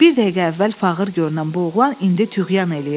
Bir dəqiqə əvvəl fağır görünən bu oğlan indi tüğyan eləyirdi.